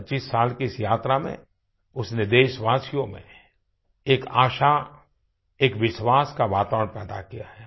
25 साल की इस यात्रा में उसने देशवासियों में एक आशा एक विश्वास का वातावरण पैदा किया है